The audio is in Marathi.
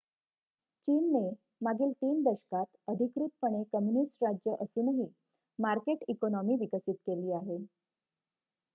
चीनने मागील ३ दशकांत अधिकृतपणे कम्युनिस्ट राज्य असूनही मार्केट इकोनॉमी विकसित केली आहे